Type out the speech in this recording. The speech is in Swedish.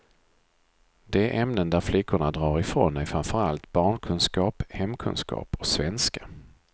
De ämnen där flickorna drar ifrån är framför allt barnkunskap, hemkunskap och svenska.